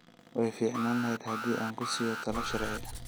Way fiicnaan lahayd haddii aan ku siiyo talo sharci